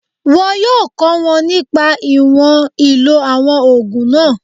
Wọn yóò kọ́ wọn nípa ìwọ̀n ìlò àwọn ògùn náà